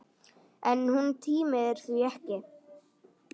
En hún tímir því ekki!